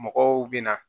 Mɔgɔw bɛ na